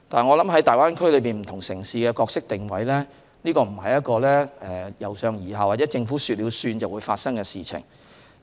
我認為，在大灣區內不同城市的角色定位，不是一個由上而下或"政府說了算"的事情。